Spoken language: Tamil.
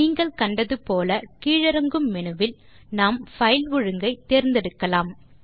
நீங்கள் கண்டது போல கீழிறங்கும் மெனுவில் நாம் பைல் ஒழுங்கை தேர்ந்து எடுக்கலாம்